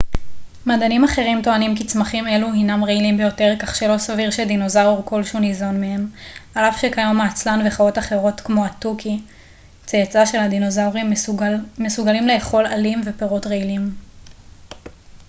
מדענים אחרים טוענים כי צמחים אלו הינם רעילים ביותר כך שלא סביר שדינוזאור כלשהו ניזון מהם על אף שכיום העצלן וחיות אחרות כמו התוכי צאצא של הדינוזאורים מסוגלים לאכול עלים ופירות רעילים